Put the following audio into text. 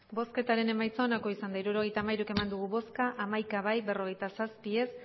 bosketaren emaitza onako izan da hirurogeita hamairu eman dugu bozka hamaika bai berrogeita zazpi ez